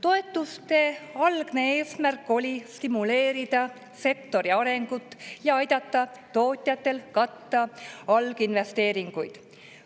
Toetuste algne eesmärk oli stimuleerida sektori arengut ja aidata tootjatel katta alginvesteeringuid.